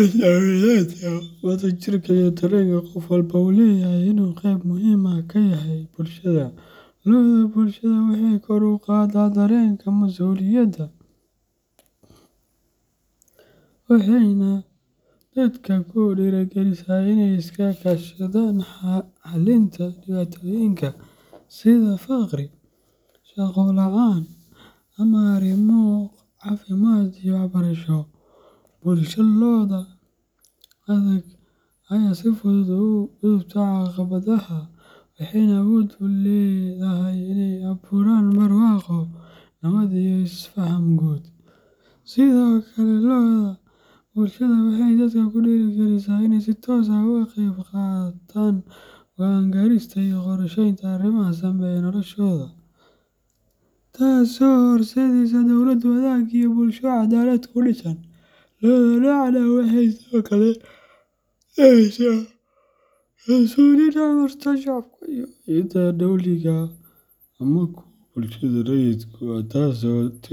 is aaminaadda, wadajirka, iyo dareenka qof walba uu leeyahay inuu qeyb muhiim ah ka yahay bulshada. Loda bulshada waxay kor u qaadaa dareenka masuuliyadda, waxayna dadka ku dhiirrigelisaa inay iska kaashadaan xallinta dhibaatooyinka sida faqri, shaqo la'aan, ama arrimo caafimaad iyo waxbarasho. Bulsho leh loda adag ayaa si fudud uga gudubta caqabadaha, waxayna awood u leedahay inay abuuraan barwaaqo, nabad, iyo is-faham guud. Sidoo kale, loda bulshada waxay dadka ku dhiirrigelisaa inay si toos ah uga qeyb qaataan go'aan gaarista iyo qorsheynta arrimaha saameeya noloshooda, taasoo horseedda dawlad wanaag iyo bulsho cadaalad ku dhisan. Loda noocan ah waxay sidoo kale dhalisaa kalsooni dhexmarta shacabka iyo hay’adaha dowliga ah ama kuwa bulshada rayidka ah, taas oo.